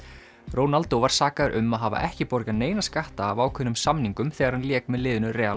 Ronaldo var sakaður um að hafa ekki borgað neina skatta af ákveðnum samningum þegar hann lék með liðinu